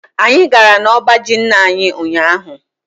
Anyị gara n'ọba ji nna anyi ụnyaahụ.